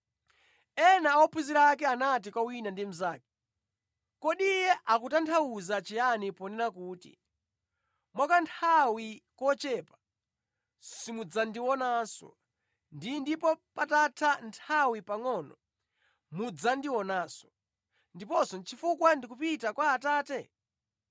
Ena a ophunzira ake anati kwa wina ndi mnzake, “Kodi Iye akutanthauza chiyani ponena kuti, ‘Mwa kanthawi kochepa, simudzandionanso,’ ndi ‘ndipo patatha nthawi pangʼono mudzandionanso,’ ndiponso ‘chifukwa ndikupita kwa Atate?’ ”